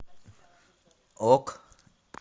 ок